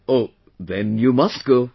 O... then you must go